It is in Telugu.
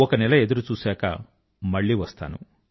ఒక నెల ఎదురు చూశాక మళ్ళీ వస్తాను